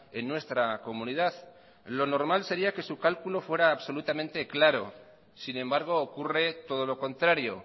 en nuestra comunidad lo normal sería que su cálculo fuera absolutamente claro sin embargo ocurre todo lo contrario